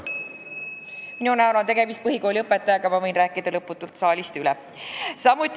Minu näol on tegemist põhikooli õpetajaga, ma võin lõputult rääkida ka saalist üle.